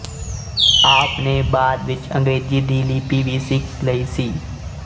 ਆਪ ਨੇ ਬਾਅਦ ਵਿੱਚ ਅੰਗਰੇਜ਼ੀ ਦੀ ਲਿਪੀ ਵੀ ਸਿੱਖ ਲਈ ਸੀ